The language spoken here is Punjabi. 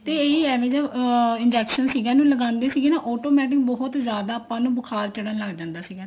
ਤੇ ਇਹ ਹੀ ਅਮ injection ਸੀਗੇ ਨਾ ਲਗਾਉਂਦੇ ਸੀਗੇ ਨਾ automatic ਬਹੁਤ ਜਿਆਦਾ ਆਪਾਂ ਨੂੰ ਬੁਖਾਰ ਚੜਨ ਲੱਗ ਜਾਂਦਾ ਸੀਗਾ